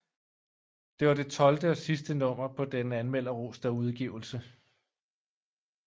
Det var det tolvte og sidste nummer på denne anmelderroste udgivelse